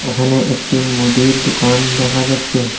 এখানে একটি মুদির দুকান দেখা যাচ্ছে।